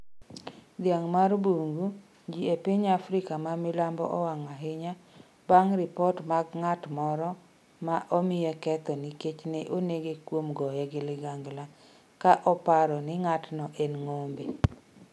Dhiang' mar bungu Ji e piny Afrika ma milambo owang’ ahinya, bang’ ripot mag ng’at moro, ma omiye ketho nikech ne onege kuom goye gi ligangla, ka oparo ni ng’atno en ng’ombe.